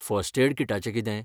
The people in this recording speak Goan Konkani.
फर्स्ट एड किटाचें कितें?